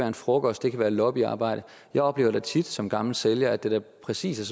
en frokost det kan være lobbyarbejde jeg oplever da tit som gammel sælger at det præcis er